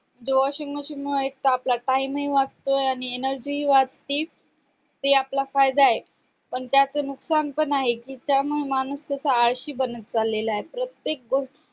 म्हणजे washing machine मूळ एकतर आपला time हि वाचतोय आणि energy हि वाचती ते आपला फायदा आहे पण त्याच नुकसान पण आहे कि त्यामुळे माणूस कसा आळशी बनत चाललेला आहे प्रत्येक गो